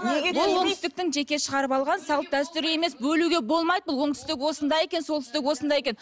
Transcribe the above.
бұл оңтүстіктің жеке шығарып алған салт дәстүрі емес бөлуге болмайды бұл оңтүстік осындай екен солтүстік осындай екен